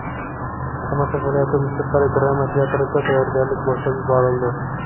Samarqand viloyati musiqali drama teatrida tayyorgarlik boshlab yuborildi.